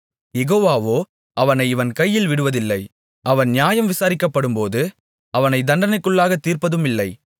யெகோவாவோ அவனை இவன் கையில் விடுவதில்லை அவன் நியாயம் விசாரிக்கப்படும்போது அவனை தண்டனைக்குள்ளாகத் தீர்ப்பதுமில்லை